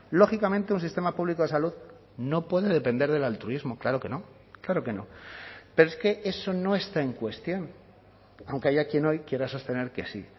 lógicamente un sistema público de salud no puede depender del altruismo claro que no claro que no pero es que eso no está en cuestión aunque haya quien hoy quiera sostener que sí